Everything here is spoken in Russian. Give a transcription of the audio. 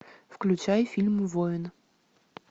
включай фильм воин